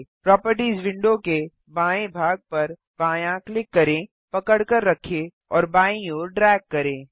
properties window के बाएँ भाग पर बायाँ क्लिक करें पकड़कर रखें और बायीं ओर ड्रैग करें